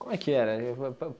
Como é que era?